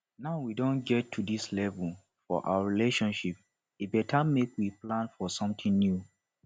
now we don get to dis level for our relationship e beta make we plan for something new